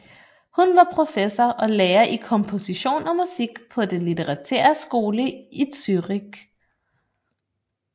Han var professor og lærer i kompostion og musik på den Litterære Skole I Zürich